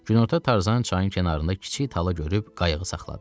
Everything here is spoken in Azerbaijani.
Günorta Tarzan çayın kənarında kiçik tala görüb qayığı saxladı.